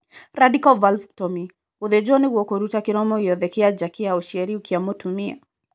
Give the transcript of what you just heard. Radical vulvectomy :gũthĩnjwo nĩguo kũruta kĩromo gĩothe kĩa nja kĩa ũciari kĩa mũtumia.